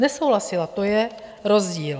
Nesouhlasila, to je rozdíl.